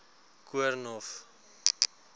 koornhof